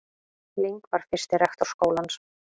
Ling var fyrsti rektor skólans.